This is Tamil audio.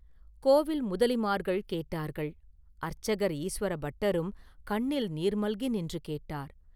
கோவில் முதலிமார்கள் கேட்டார்கள்; அர்ச்சகர் ஈசுவரபட்டரும் கண்ணில் நீர் மல்கி நின்று கேட்டார்.